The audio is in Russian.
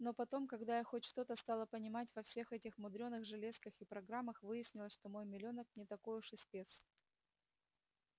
но потом когда я хоть что-то стала понимать во всех этих мудрёных железках и программах выяснилось что мой милёнок не такой уж и спец